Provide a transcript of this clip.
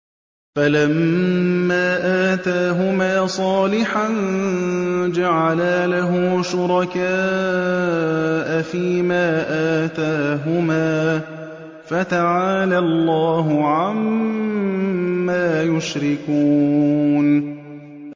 فَلَمَّا آتَاهُمَا صَالِحًا جَعَلَا لَهُ شُرَكَاءَ فِيمَا آتَاهُمَا ۚ فَتَعَالَى اللَّهُ عَمَّا يُشْرِكُونَ